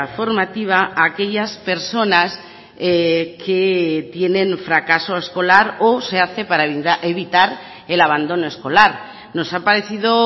formativa a aquellas personas que tienen fracaso escolar o se hace para evitar el abandono escolar nos ha parecido